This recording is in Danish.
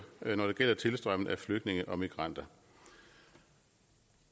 når det gælder tilstrømningen af flygtninge og migranter